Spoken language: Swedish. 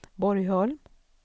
Borgholm